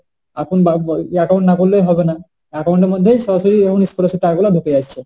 এখন বা~ এখন account না খুললে হবে না account এর মধ্যে সরাসরি scholarship এর টাকা গুলো ঢুকে যাচ্ছে।